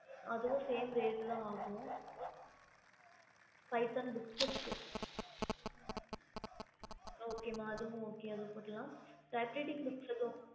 okey mam அதுவும் same rate ஆகும் Python இருக்க mam பைதான் book இருக்குஅது குடுக்கலாம் அப்புறம் gk book வேணும்